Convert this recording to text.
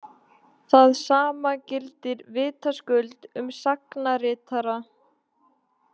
Það sama gildir vitaskuld um sagnaritara.